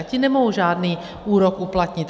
A ti nemohou žádný úrok uplatnit.